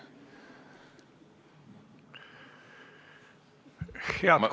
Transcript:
Head kolleegid!